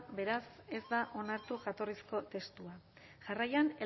beraz ez da onartu jatorrizko testua jarraian